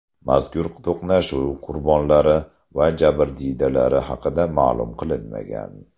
Mazkur to‘qnashuv qurbonlari va jabrdiydalari haqida ma’lum qilinmagan.